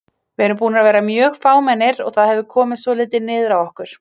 Við erum búnir að vera mjög fámennir og það hefur komið svolítið niður á okkur.